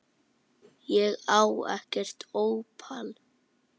Ég á ekkert ópal